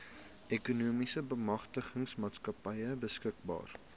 ekonomiese bemagtigingsmaatskappy beskikbaar